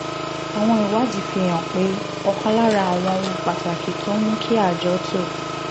àwọn ìwádìí fi hàn pé ọ̀kan lára àwọn ohun pàtàkì tó ń mú kí àjọ tó